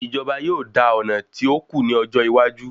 Ìjọba yóò dà ọ̀nà tí òkú ní ọjọ́ iwájú